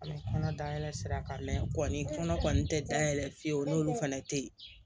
An bɛ kɔnɔ dayɛlɛ sira kan mɛ kɔni tɛ da yɛlɛ fiyewu n'olu fana tɛ yen